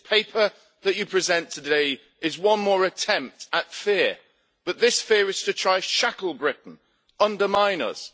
This paper that you present today is one more attempt at fear, but this fear is to try to shackle Britain and undermine us.